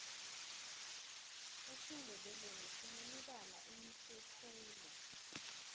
esindebeleni sinemibala emihle khulu